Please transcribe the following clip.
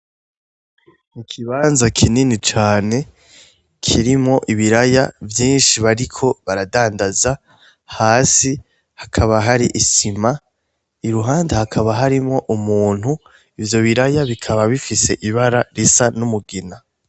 Ni ikibanza kinini cane kirimwo ibiraya vyinshi bariko baradandaza, hasi hakaba hari isima , iruhande hakaba harimwo umuntu, ivyo biraya bikaba bifise ibara risa n’umugina.